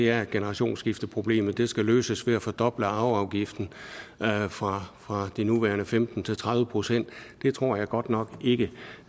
er at generationsskifteproblemet skal løses ved at fordoble arveafgiften fra fra de nuværende femten til tredive procent det tror jeg godt nok ikke